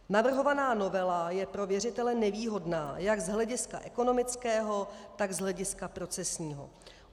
Navrhovaná novela je pro věřitele nevýhodná jak z hlediska ekonomického, tak z hlediska procesního.